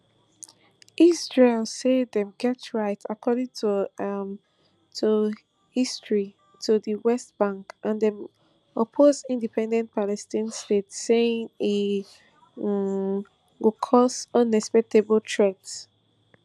israel say dem get right according um to history to di west bank and dem oppose independent palestine state saying e um go cause unacceptable threat